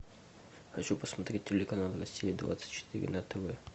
хочу посмотреть телеканал россия двадцать четыре на тв